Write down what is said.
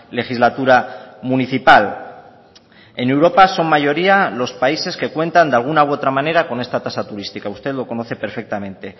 legislatura municipal en europa son mayoría los países que cuentan de alguna u otra manera con esta tasa turística usted lo conoce perfectamente